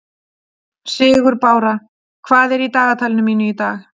Sigurbára, hvað er í dagatalinu mínu í dag?